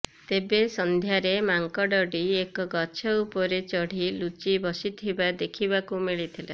ତେବେ ସନ୍ଧ୍ୟାରେ ମାଙ୍କଡ଼ଟି ଏକ ଗଛ ଉପରେ ଚଢ଼ି ଲୁଚି ବସିଥିବା ଦେଖିବାକୁ ମିଳିଥିଲା